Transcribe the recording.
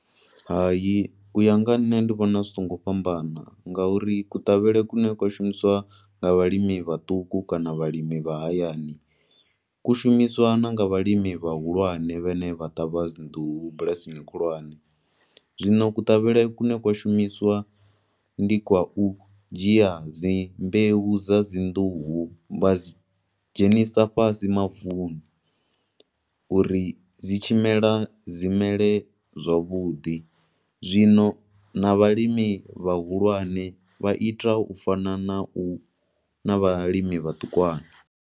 Hayi, u ya nga nṋe ndi vhona zwi songo fhambana, nga uri kuṱavhele kune kwa shumisiwa nga vhalimi vhatuku kana vhalimi vha hayani, ku shumiswa na nga vhalimi vha hulwane vha ne vha ṱavha dzi nḓuhu bulasini khulwane. Zwino kuṱavhele ku ne kwa shumiswa ndi kwa u dzhia dzi mbeu dza dzi nḓuhu vha dzi dhzenisa vhasi mavuni, uri dzi tshi mela, dzi mele zwavhuḓi. Zwino, na vhalimi vha hulwane vha ita ufana na u, na vhalimi vhaṱukwana.